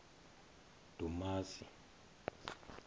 dumasi